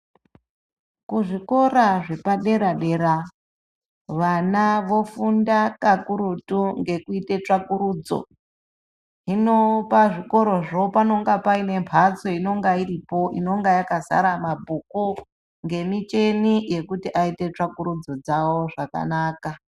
Kuzvikora zvepadera- dera vana vofunda kakurutungekuita ngekuita tsvakurudzo hino pazvikorazvo panemhstso dzinenge dzakadzara micheni yokuti vaite tsvakurudzo dzavo zvakanaka.